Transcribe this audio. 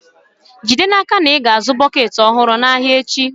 Jide n'aka na ị zụų bọket ọhụrụ n'ahịa echi.